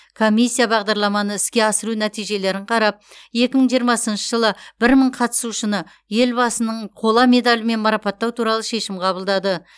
комиссия бағдарламаны іске асыру нәтижелерін қарап екі мың жиырмасыншы жылы бір мың қатысушыны елбасының қола медалімен марапаттау туралы шешім қабылдады